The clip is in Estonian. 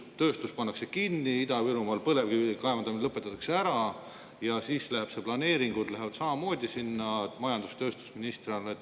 Tööstus pannakse kinni, Ida-Virumaal põlevkivi kaevandamine lõpetatakse ära ja siis planeeringud lähevad sinna majandus‑ ja tööstusministri alla.